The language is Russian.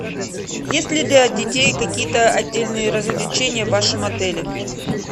есть ли для детей какие то отдельные развлечения в вашем отеле